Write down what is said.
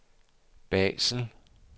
Basel